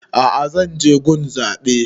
A'a zan je gun zaɓe